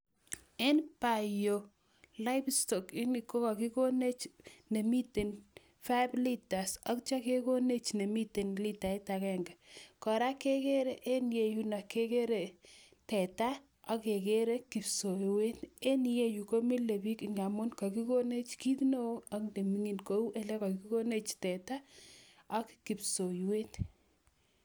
En tai yu, livestock kokakikonech nemiten five litres atya kekonech ne miten ltaita agenge. Kora kegere eng' yeyundo kegere teta, akegere kipsowet. Eng' ye yu, ko milei bich nga amun kakikonech kiit neo ak neming'in kou ele kakikonech teta, ak kipsoiwet.